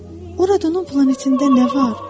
Oradan o planetində nə var?